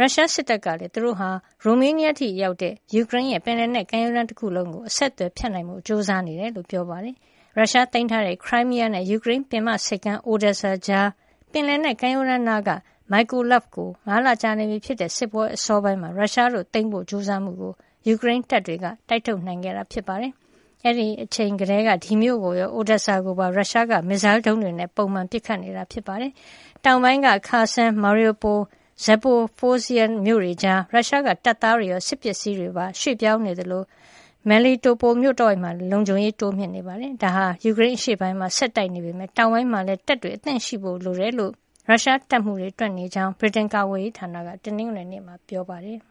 ရုရှားစစ်တပ်ကလေည်း သူတို့ဟာ ရိုမေးနီးယားအထိ ရောက်တဲ့ ယူကရိန်းရဲ့ ပင်လယ်နယ်ကမ်းရိုးတန်း တခုလုံးကို အဆက်သွယ်ဖြတ်တောက်နိုင်ဖို့ ကြိုးစားနေတယ်လို့ ပြောပါတယ်။ ရုရှားသိမ်းထားတဲ့ Crimea နဲ့ ယူကရိန်းပင်မဆိပ်ကမ်း Odesa ကြား ပင်လယ်နက်ကမ်းရိုးတန်းနားက Mykolaiv ကို ၅ လကြာနေပြီဖြစ်တဲ့ စစ်ပွဲ အစောပိုင်းတုန်းက ရုရှားတို့ သိမ်းဖို့ ကြိုးစားမှုကို ယူကရိန်းတပ်တွေကတိုက်ထုတ်နိုင်ခဲ့တာပါ။ အဲဒီအချိန်ကတည်းက ဒီမြို့ကိုရော Odesa ကိုပါ ရုရှားက မစ်စိုင်းဒုံးတွေနဲ့ ပုံမှန် ပစ်ခတ်နေတာ ဖြစ်ပါတယ်။ တောင်ပိုင်းက Kherson၊ Mariupol နဲ့ Zaporizhzhia မြို့တွေကြား ရုရှားက တပ်သားတွေရော စက်ပစ္စည်းတွေကိုပါ ရွှေ့ပြောင်းနေသလို Melitopol မြို့တဝိုက်မှာလည်း လုံခြုံရေးတွေ တိုးမြှင့်နေတာတွေ့ရပြီး ဒါဟာ ယူကရိန်းအရှေ့ပိုင်းမှာ ဆက်တိုက်နေပေမယ့် တောင်ပိုင်းမှာလည်း တပ်တွေအသင့်ရှိဖို့ လိုတယ်လို့ ရုရှားတပ်မှုးတွေ တွက်ဆနေတာဖြစ်ကြောင်း ဗြိတိန်ကာကွယ်ရေးဌာနက တနင်္ဂနွေနေ့မှာ ပြောပါတယ်